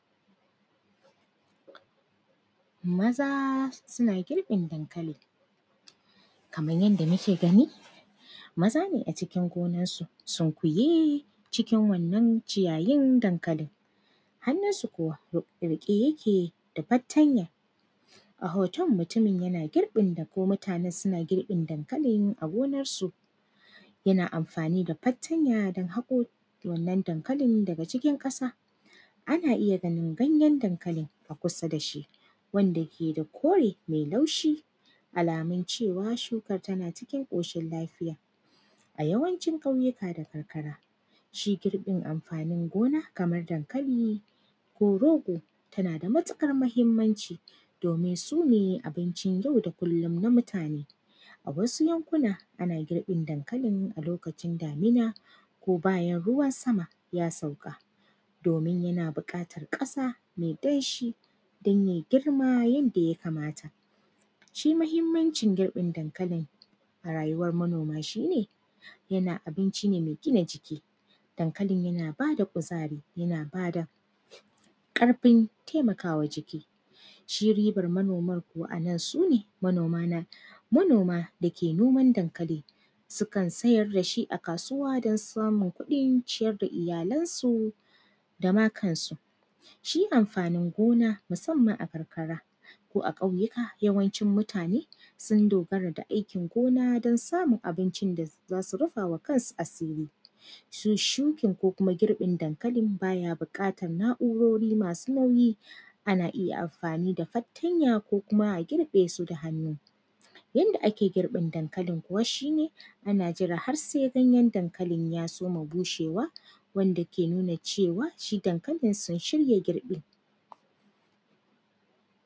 Maza suna girƃin dankali. Kaman yanda muke gani, maza ne a cikin gona sunkuye cikin wannan ciyayin dankalin. Hanninsu kuwa w; riƙe yake da fattanya, a hoton, mutumin yana girƃin da ko mutanen suna girƃin dankalin a gonarsu. Yana amfani da fartanya don kaƙo wannan dankalin daga cikin ƙasa. Ana iya ganin ganyen dankalin a kusa da shi wanda ke da kore me laushi, alamun cewa, shuka tana cikin ƙoshil lafiya. A yawancin ƙauyuka da karkara, shi girƃin amfanin gona kamar dankali ko rogo, tana da matiƙar mahimmanci, domin su ne abincin yau da kullim na mutane. A wasu yankuna, ana girƃin dankalin a lokacin damina ko bayan ruwan sama, ya sauƙa, domin yana biƙatar ƙasa me danshi don yai girma yanda ya kamata. Shi mahimmancin girƃin dankalin a rayuwar manoma, shi ne yana, abinci ne me gina jiki, dankalin yana ba da kuzari, yana ba da ƙarfin temaka wa jiki. Shi ribar manomar kuwa a nan, su ne, manoma na, manoma da ke noman dankali, sukan sayar da shi a kasuwa don samun kuɗin ciyar da iyalansu da ma kansu. Shi amfanin gona, musamman a karkara ko ƙauyika, yawancin mutane, sun dogara ga aikin gona don samun abincin da za; za su rifa wa kansu asiri. Su shukin ko kuma girƃin dankalin, ba ya buƙatan na’urori masu nauyi, ana iya mafani da fartanya ko kuma a girƃe su da hannu. Wanda ake girƃin dankalin kuwa, shi ne, ana jira har sai ganyen dankalin ya soma bushewa wanda ke nuna cewa, shi dankalin sun shirya girƃi.